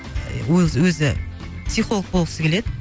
і өзі психолог болғысы келеді